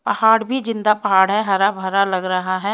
पहाड़ भी जिंदा पहाड़ है हरा भरा लग रहा है।